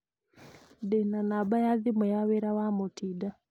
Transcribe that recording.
ndĩ na namba ya thimũ ya wĩra ya mutinda